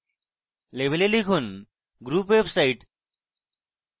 label এ লিখুন group website